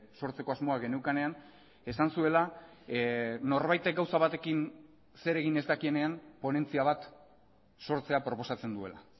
sortzeko asmoa geneukanean esan zuela norbaitek gauza batekin zer egin ez dakienean ponentzia bat sortzea proposatzen duela